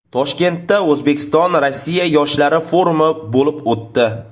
Toshkentda O‘zbekiston Rossiya yoshlari forumi bo‘lib o‘tdi.